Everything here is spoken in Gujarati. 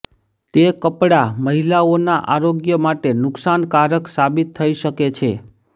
તે કપડા મહિલાઓના આરોગ્ય માટે નુકશાનકારક સાબિત થઈ શકે છે